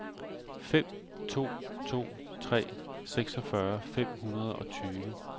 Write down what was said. fem to to tre seksogfyrre fem hundrede og tyve